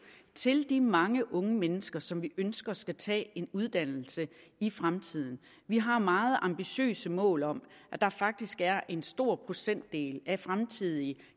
til de mange unge mennesker som vi ønsker skal tage en uddannelse i fremtiden vi har meget ambitiøse mål om at der faktisk er en stor procentdel af fremtidige